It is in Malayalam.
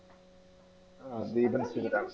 ആഹ് ദീപൻ ശിവരാമൻ